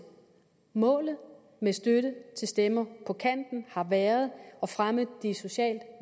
målet med støtte til stemmer på kanten har været at fremme de socialt